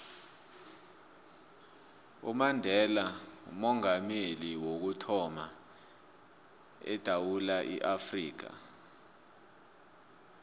umandela ngoomongameli wokuthama edewula afrika